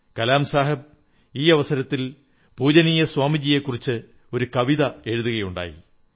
കലാം സാഹബ് ഈ അവസരത്തിൽ പൂജനീയ സ്വാമിജിയെക്കുറിച്ച് ഒരു കവിത കേൾപ്പിക്കയുണ്ടായി